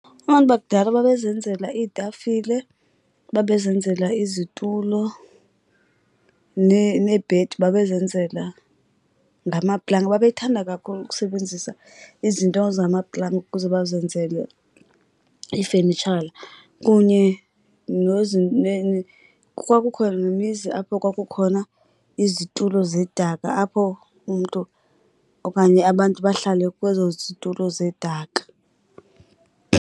Abantu bakudala babezenzela iitafile, babezenzela izitulo, neebhedi babezenzela ngamaplanga. Babethanda kakhulu ukusebenzisa izinto zamaplanga ukuze bazenzele iifenitshala kunye kwakukho nemizi apho kwakukhona izitulo zedaka apho umntu okanye abantu bahlale kwezo zitulo zedaka.